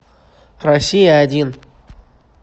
россия один